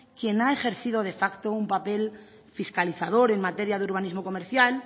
quien ha ejercido de facto un papel fiscalizador en materia de urbanismo comercial